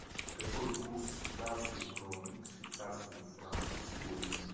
какой курс датской кроны к швейцарскому франку сегодня